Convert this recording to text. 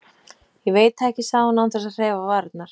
Ég veit það ekki, sagði hún án þess að hreyfa varirnar.